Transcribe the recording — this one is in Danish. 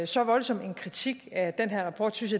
så voldsom en kritik af den her rapport synes